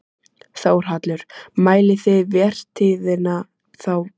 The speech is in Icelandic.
Þórhallur: Mælið þið vertíðina þá frá byrjun desember?